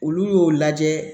Olu y'o lajɛ